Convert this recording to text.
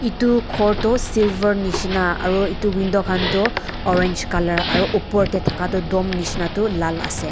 etu ghor tu silver nisna aru etu window khan tu orange colour aru upor teh thaka tu dom nisna tu lal ase.